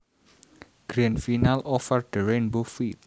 Grand Final Over The Rainbow feat